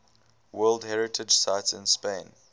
world heritage sites in spain